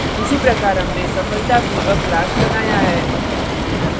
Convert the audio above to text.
इसी प्रकार हमने सफलतापूर्वक class बनाया है